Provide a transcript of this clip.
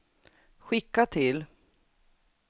skicka till